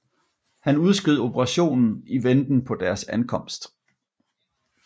Han udskød operationen i venten på deres ankomst